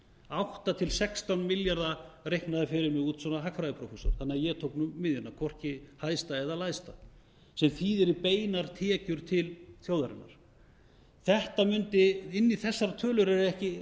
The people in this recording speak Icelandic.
átta til átján milljarða reiknaði fyrir mig út hagfræðiprófessor þannig að ég tók miðjuna hvorki hæsta eða lægsta sem þýðir í beinar tekjur til þjóðarinnar inn í þessar tölur er ekki